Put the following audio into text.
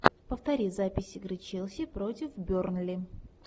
повтори запись игры челси против бернли